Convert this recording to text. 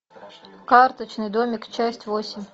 карточный домик часть восемь